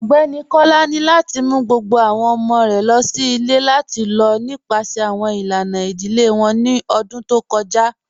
Ọgbẹni Kọ́lá ni lati mú gbogbo awọn ọmọ̀ rẹ̀ lọ sí ilẹ̀ lati lọ nípasẹ̀ awọn ilànà idílé wọn ní ọ̀dún tó kọja